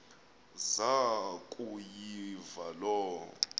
zaku yiva loo